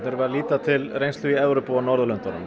erum að líta til reynslu í Evrópu og á Norðurlöndunum